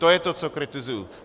To je to, co kritizuji.